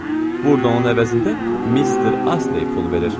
Burda onun əvəzində mister Asley pul verir.